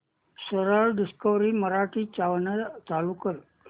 सरळ डिस्कवरी मराठी चालू कर